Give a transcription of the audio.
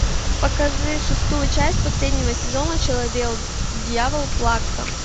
покажи шестую часть последнего сезона человек дьявол плакса